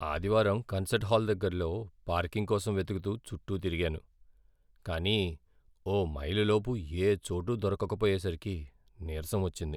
ఆదివారం concert hall దగ్గర్లో parking కోసం వెతుకుతూ చుట్టూ తిరిగాను, కానీ ఓ మైలు లోపు ఏ చోటూ దొరకకపోయేసరికి నిరసం వచ్చింది.